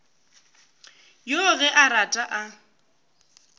yoo ge a rata a